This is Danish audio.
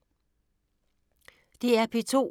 DR P2